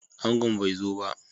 Angon bai zo ba